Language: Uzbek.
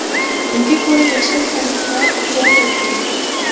Unga ko‘ra, yashil tariflar joriy etildi.